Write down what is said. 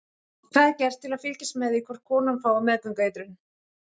Þetta er gert til að fylgjast með því hvort konan fái meðgöngueitrun.